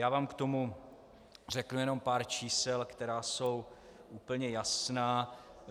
Já vám k tomu řeknu jenom pár čísel, která jsou úplně jasná.